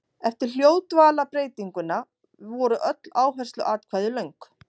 Eftir hljóðdvalarbreytinguna voru öll áhersluatkvæði löng.